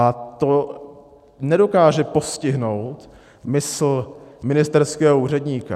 A to nedokáže postihnout mysl ministerského úředníka.